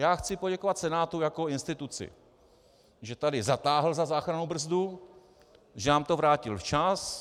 Já chci poděkovat Senátu jako instituci, že tady zatáhl za záchrannou brzdu, že nám to vrátil včas.